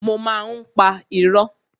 Mo má ń pa irọ́.